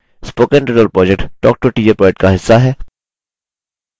spoken tutorial project talktoateacher project का हिस्सा है